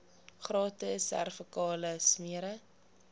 gratis servikale smere